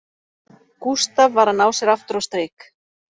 Gústaf var að ná sér aftur á strik